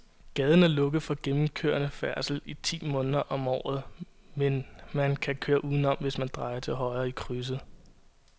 Gaden er lukket for gennemgående færdsel ti måneder om året, men man kan køre udenom, hvis man drejer til højre i krydset.